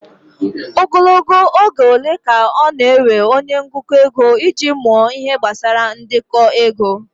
Ogologo oge ole ka ọ na-ewe onye ngụkọ ego iji mụọ Ihe gbasara ndekọ ego?